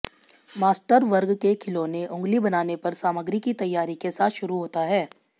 master वर्ग के खिलौने उंगली बनाने पर सामग्री की तैयारी के साथ शुरू होता है